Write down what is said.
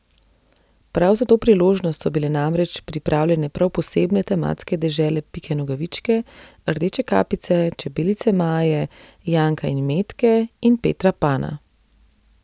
Prav za to priložnost so bile namreč pripravljene prav posebne tematske dežele Pike Nogavičke, Rdeče kapice, čebelice Maje, Janka in Metke in Petra Pana.